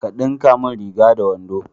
Ka dinka mun riga da wando